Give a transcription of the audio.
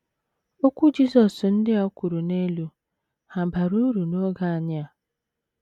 Okwu Jizọs ndi a kwuru n'elu, hà bara uru n’oge anyị a?